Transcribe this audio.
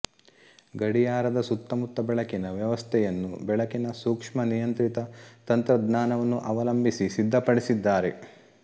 ಗಡಿಯಾರದ ಸುತ್ತಮುತ್ತ ಬೆಳಕಿನ ವ್ಯವಸ್ಥೆಯನ್ನು ಬೆಳಕಿನ ಸೂಕ್ಷ ನಿಯಂತ್ರಿತ ತಂತ್ರಜ್ಞಾನವನ್ನು ಅವಲಂಭಿಸಿ ಸಿದ್ಧಪಡಿಸಿದ್ದಾರೆ